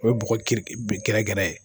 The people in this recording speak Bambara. O ye bɔgɔ keleb gɛrɛgɛrɛ ye.